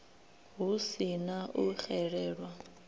hu si na u xelelwa